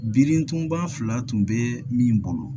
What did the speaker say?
Birintuba fila tun bɛ min bolo